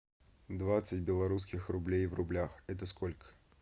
двадцать белорусских рублей в рублях это сколько